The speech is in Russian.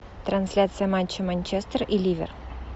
трансляция матча манчестер и ливер